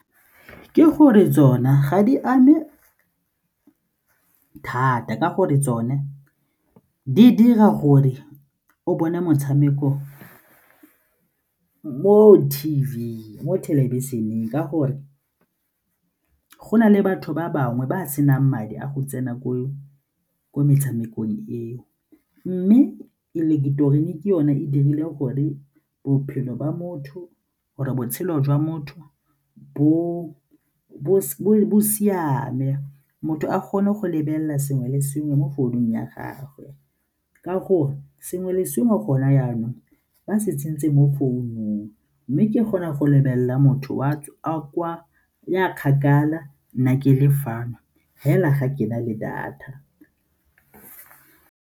Ke gore tsona ga di ame thata ka gore tsone di dira gore o bone motshameko mo T_V, mo thelebišeneng ka gore go na le batho ba bangwe ba senang madi a go tsena kwa metshamekong eo mme ileketerone ke yone e dirile gore bophelo ba motho gore botshelo jwa motho bo siame, motho a kgone go lebelela sengwe le sengwe mo founung ya gagwe ka gore sengwe le sengwe gona jaanong ba se tsentse mo founung mme ke kgona go lebelela motho ya kgakala nna ke le fa fela ga ke na le data.